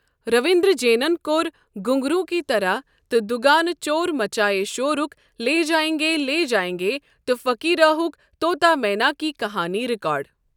رٔوِنٛدر جینن کوٚر ' گُھنٛگروٗ کی طَرح' تہٕ دُگانہٕ چور مَچایے شورُک 'لے جاینگے لے جاینگے' تہٕ فٔقیٖراہُک 'طوطا مینا کی کَہانی' ریٚکارڈ۔